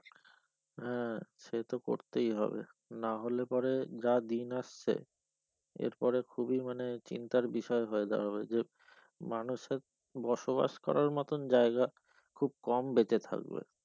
হ্যাঁ সে তো করতেই হবে না হলে পরে যা দিন আসছে এরপরে খুবই মানে চিন্তার বিষয় হয়ে দাঁড়াবে যে মানুষের বসবাস করার মতন জায়গা খুব কম বেঁচে থাকবে।